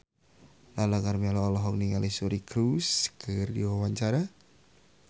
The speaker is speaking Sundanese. Lala Karmela olohok ningali Suri Cruise keur diwawancara